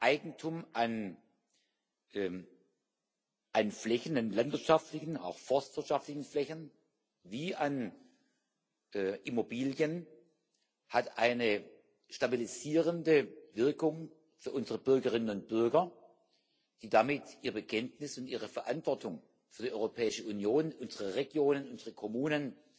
Eigentum an Flächen landwirtschaftlichen, auch forstwirtschaftlichen Flächen wie an Immobilien hat eine stabilisierende Wirkung für unsere Bürgerinnen und Bürger, die damit ihre Kenntnisse und ihre Verantwortung für die Europäische Union, unsere Regionen, unsere Kommunen